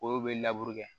Olu bɛ kɛ